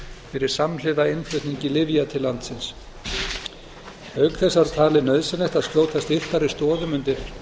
fyrir samhliða innflutningi lyfja til landsins auk þess var talið nauðsynlegt að skjóta styrkari stoðum undir